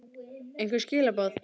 einhver skilaboð?